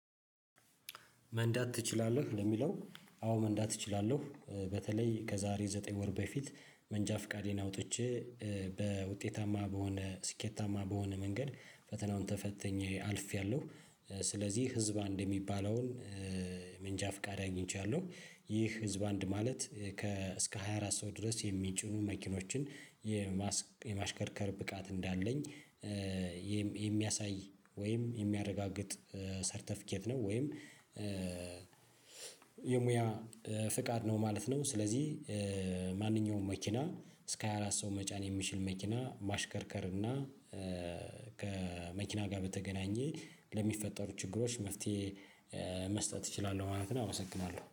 መንዳት ትችላለህ ለሚለው አዎ መንዳት እችላለሁ በተለይ ከዛሬ ዘጠኝ ወር በፊት መንጃ ፍቃዴን አውጥቼ በውጤታማ በሆነ ስኬታማ በሆነ መንገድ ፈተናውን ተፈተኜ አልፌያለሁ ስለዚህ ህዝብ አንድ የሚባለውን መንጃ ፍቃድ አግኝቼለሁ። ይህ ህዝብ አንድ ማለት ከእስከ ሃያ አራት ሰው ድረስ የሚጭኑ መኪኖችን የማሽከርከር ብቃት እንዳለኝ የሚያሳይ ወይም የሚያረጋግጥ ሰርተፊኬት ነው ወይም የሙያ ፍቃድ ነው ማለት ነው። ስለዚህ ማንኛውም መኪና እስከ ሃያ አራት ሰው መጫን የሚችል መኪና ማሽከርከር እና ከመኪና ጋር በተገናኘ ለሚፈጠሩ ችግሮች መፍትሄ መስጠት እችላለሁ። ማለት አመሰግናለሁ